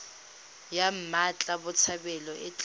ya mmatla botshabelo e tla